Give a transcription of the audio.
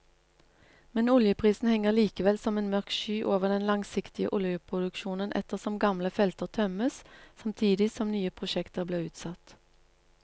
Men oljeprisen henger likevel som en mørk sky over den langsiktige oljeproduksjonen ettersom gamle felter tømmes samtidig som nye prosjekter blir utsatt.